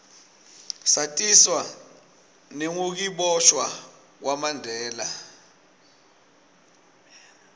satiswa nengukiboshwa kwamanbela